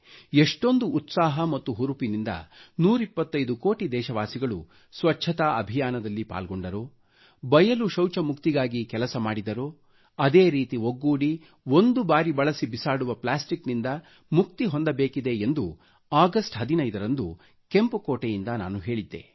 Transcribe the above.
ಎಷ್ಟೊಂದು ಉತ್ಸಾಹ ಮತ್ತು ಹುರುಪಿನಿಂದ 125 ಕೋಟಿ ದೇಶವಾಸಿಗಳು ಸ್ವಚ್ಛತಾ ಅಭಿಯಾನದಲ್ಲಿ ಪಾಲ್ಗೊಂಡರೋ ಬಯಲು ಶೌಚ ಮುಕ್ತಿಗಾಗಿ ಕೆಲಸ ಮಾಡಿದರೋ ಅದೇ ರೀತಿ ಒಗ್ಗೂಡಿ ಒಂದು ಬಾರಿ ಬಳಸಿ ಬಿಸಾಡುವ ಪ್ಲಾಸ್ಟಿಕ್ನಿಂದ ಮುಕ್ತಿ ಹೊಂದಬೇಕಿದೆ ಎಂದು ಆಗಸ್ಟ್ 15 ರಂದು ಕೆಂಪು ಕೋಟೆಯಿಂದ ನಾನು ಹೇಳಿದ್ದೆ